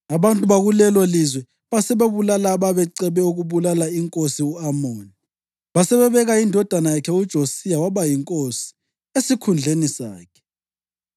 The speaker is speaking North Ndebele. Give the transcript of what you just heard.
Abantu bakulelolizwe basebebulala ababecebe ukubulala inkosi u-Amoni, basebebeka indodana yakhe uJosiya waba yinkosi, esikhundleni sakhe.